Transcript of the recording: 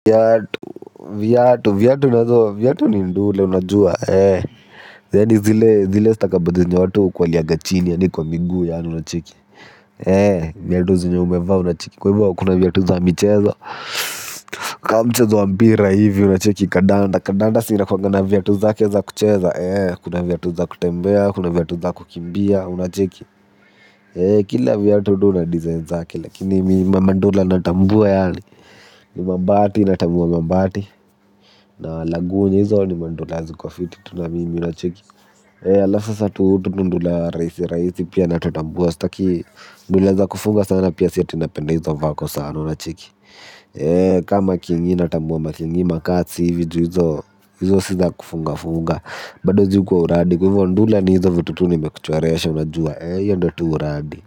Viatu, viatu, viatu, viatu nazo, viatu ni ndula unajua, ee yaani zile, zile stakabadhi zenye watu ukuliaga chini, yaani kwa miguu, yaani, unacheki. Ee, viatu zenye umevaa, unacheki. Kwa hivyo, kuna viatu za michezo, kama mchezo wa mpira, hivi, unacheki. Kandanda, kandanda si inkuwanga na viatu zake za kucheza. Eee, kuna viatu za kutembea, kuna viatu za kukimbia, unacheki. Eee, kila viatu huwa na design zake, lakini mimi mandula natambua, yaani ni mambati natambua mambati na lagunya hizo ni mandula ziko fiti tu na mimi nacheki ee alafu sasa hutu tundula rahisi rahisi pia natutambua sitaki ndula za kufunga sana pia si ati napenda hizo vako sana unacheki ee kama kingi natambua makingi makazi hivi hizo hizo si za kufunga funga bado juu kwa uradi kwa hivyo ndula ni hizo vitu tu nimekuchoresha unajua ee hiyo ndiyo tu uradi.